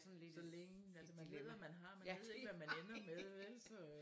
Så længe altså man ved hvad man har man ved ikke hvad man ender med vel så øh